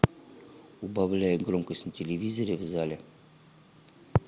убавляй громкость на телевизоре в зале